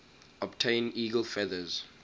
obtain eagle feathers